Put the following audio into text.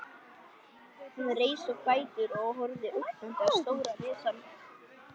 Hann reis á fætur og horfði ógnandi á stóran risann.